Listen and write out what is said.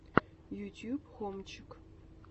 ютуб хомчик